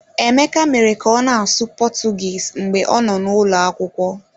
Emeka mere ka ọ na-asụ Portuguese mgbe ọ nọ n'ụlọ akwụkwọ.